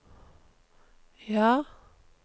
ja